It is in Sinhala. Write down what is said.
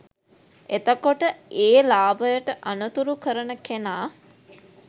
එතකොට ඒ ලාභයට අනතුරු කරන කෙනා